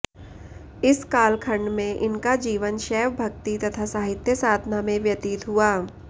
इस कालखण्ड में इनका जीवन शैव भक्ति तथा साहित्य साधना में व्यतीत हुआ